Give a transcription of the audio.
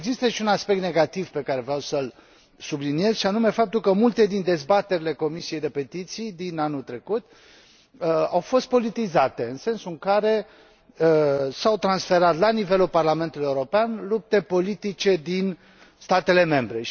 Există și un aspect negativ pe care vreau să l subliniez, și anume faptul că multe dintre dezbaterile Comisiei pentru petiții din anul trecut au fost politizate, în sensul în care s au transferat la nivelul Parlamentului European lupte politice din statele membre.